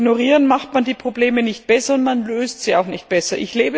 Und durch Ignorieren macht man die Probleme nicht besser und man löst sie auch nicht besser.